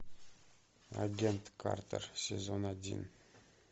агент картер сезон один